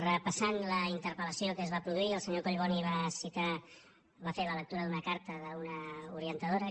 repassant la interpellació que es va produir el senyor collboni va citar o va fer la lectura d’una carta d’una orientadora